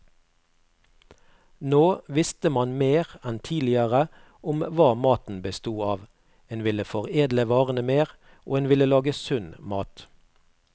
Nå visste man mer enn tidligere om hva maten bestod av, en ville foredle varene mer, og en ville lage sunn mat.